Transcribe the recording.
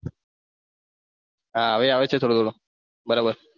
હવે આવે છે થોડો થોડો બરાબર.